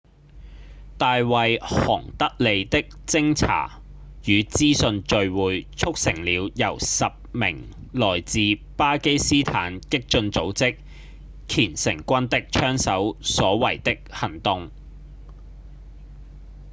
大衛·韓德利的偵查與資訊聚會促成了由10名來自巴基斯坦激進組織虔誠軍的槍手所為的行動